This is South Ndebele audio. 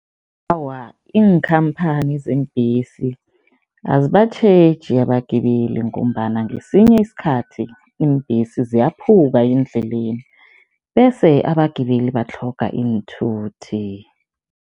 Awa, iinkhamphani zeembesi azibatjheji abagibeli ngombana ngesinye isikhathi iimbhesi ziyaphuka endleleni bese abagibeli batlhoga iinthuthi.